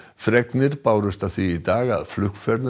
fregnir bárust af því í dag að flugferðum